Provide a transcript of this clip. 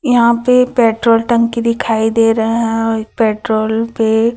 यहां पे पेट्रोल टंकी दिखाई दे रहे हैं पेट्रोल पे--